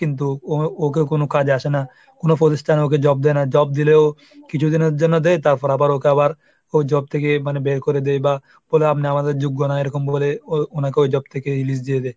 কিন্তু ওকে কোনো কাজে আসে না। কোনো প্রতিষ্ঠানে ওকে job দেয় না, জব দিলেও কিছুদিনের জন্য দেয় তারপর আবার ওকে আবার ও job থেকে মানে বের করে দেয় বা বলে আপনি আমাদের যোগ্য না এরকম বলে ওনাকে ওই job থেকে release দিয়ে দেয়।